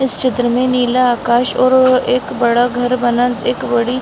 इस चित्र मे नीला आकाश और एक बड़ा घर बनल एक बड़ी --